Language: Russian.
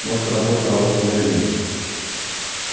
мозг робота работал медленно